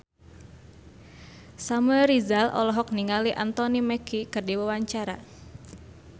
Samuel Rizal olohok ningali Anthony Mackie keur diwawancara